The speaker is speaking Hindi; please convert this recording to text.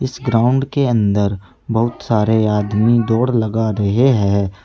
इस ग्राउंड के अंदर बहुत सारे आदमी दौड़ लगा रहे हैं।